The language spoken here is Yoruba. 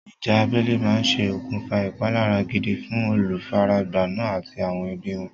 Ìjà abẹ́lé máa ṣe okùnfà ìpalára gidi fún olùfaragbá náà àti àwọn ẹbí wọn.